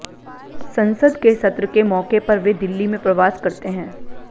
संसद के सत्र के मौके पर वे दिल्ली में प्रवास करते हैं